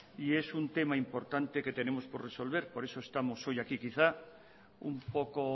y es un tema importante que tenemos por resolver por eso estamos hoy aquí quizás un poco